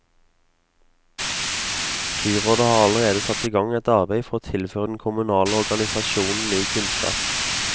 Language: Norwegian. Byrådet har allerede satt i gang et arbeid for å tilføre den kommunale organisasjon ny kunnskap.